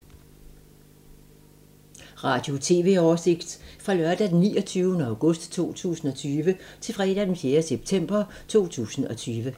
Radio/TV oversigt fra lørdag d. 29. august 2020 til fredag d. 4. september 2020